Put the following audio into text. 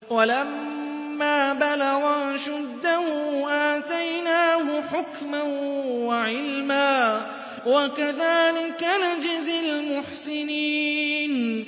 وَلَمَّا بَلَغَ أَشُدَّهُ آتَيْنَاهُ حُكْمًا وَعِلْمًا ۚ وَكَذَٰلِكَ نَجْزِي الْمُحْسِنِينَ